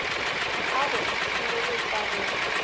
a go go šireletša go